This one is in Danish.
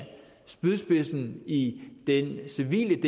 spydspidsen i den civile